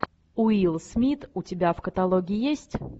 уилл смит у тебя в каталоге есть